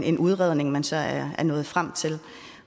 en udredning man så er nået frem til